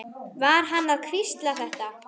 Var hann að hvísla þetta?